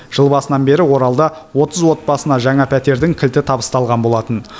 жыл басынан бері оралда отыз отбасына жаңа пәтердің кілті табысталған болатын